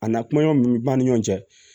A na kumaɲɔgɔn min b'an ni ɲɔgɔn cɛ